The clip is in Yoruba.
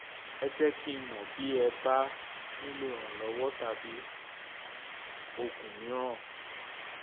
ẹ jẹ́ kí n mọ̀ bí ẹ bá nílò ìrànlọ́wọ́ tàbí oògùn mìíràn